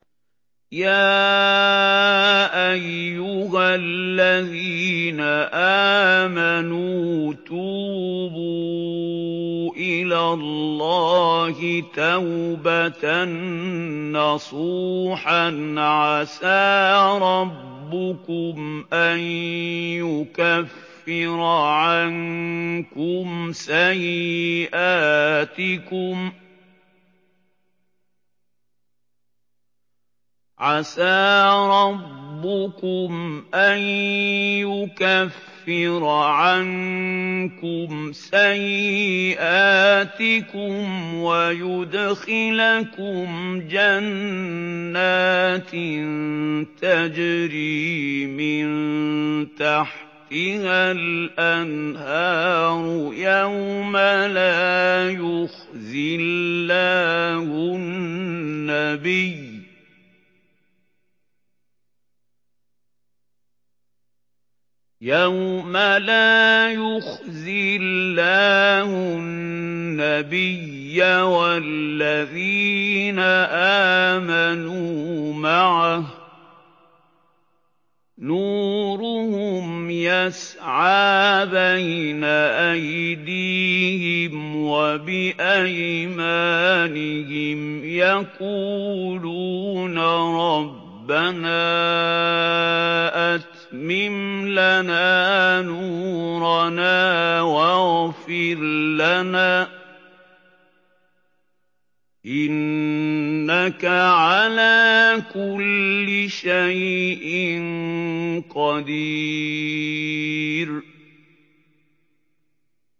يَا أَيُّهَا الَّذِينَ آمَنُوا تُوبُوا إِلَى اللَّهِ تَوْبَةً نَّصُوحًا عَسَىٰ رَبُّكُمْ أَن يُكَفِّرَ عَنكُمْ سَيِّئَاتِكُمْ وَيُدْخِلَكُمْ جَنَّاتٍ تَجْرِي مِن تَحْتِهَا الْأَنْهَارُ يَوْمَ لَا يُخْزِي اللَّهُ النَّبِيَّ وَالَّذِينَ آمَنُوا مَعَهُ ۖ نُورُهُمْ يَسْعَىٰ بَيْنَ أَيْدِيهِمْ وَبِأَيْمَانِهِمْ يَقُولُونَ رَبَّنَا أَتْمِمْ لَنَا نُورَنَا وَاغْفِرْ لَنَا ۖ إِنَّكَ عَلَىٰ كُلِّ شَيْءٍ قَدِيرٌ